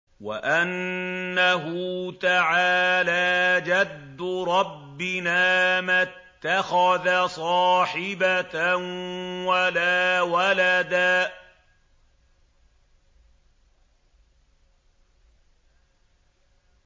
وَأَنَّهُ تَعَالَىٰ جَدُّ رَبِّنَا مَا اتَّخَذَ صَاحِبَةً وَلَا وَلَدًا